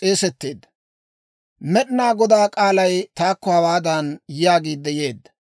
Med'inaa Godaa k'aalay taakko hawaadan yaagiidde yeedda;